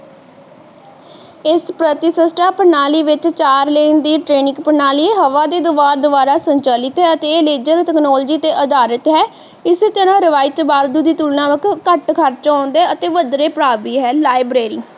liberary ਇਸ ਪ੍ਰਤੀਸ਼ਿਸ਼ਠਾ ਪ੍ਰਣਾਲੀ ਵਿਚ ਚਾਰ ਲਿੰਕ ਦੀ training ਪ੍ਰਣਾਲੀ ਹਵਾ ਦੇ ਦਬਾਵ ਦੁਵਾਰਾ ਸੰਚਾਲਿਤ ਹੈ ਤੇ latest technology ਤੇ ਅਧਾਰਿਤ ਹੈ ਇਸ ਤਰਾਹ ਰਵਾਇਤ ਤੁਲਨਾ ਦੇ ਘੱਟ ਖ਼ਰਚ ਆਉਂਦਾ ਹੈ ਤੇ ਵੱਧੇਰੇ ਪ੍ਰਭਾਵੀ ਹੈ